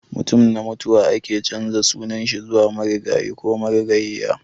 Mutum na mutuwa ake canza sunan shi zuwa marigayi ko marigayiya.